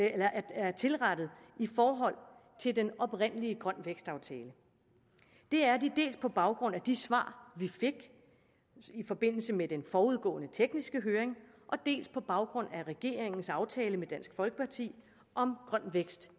er tilrettet i forhold til den oprindelige grøn vækst aftale det er de dels på baggrund af de svar vi fik i forbindelse med den forudgående tekniske høring dels på baggrund af regeringens aftale med dansk folkeparti om grøn vækst